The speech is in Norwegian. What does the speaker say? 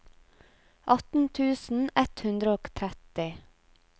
atten tusen ett hundre og tretti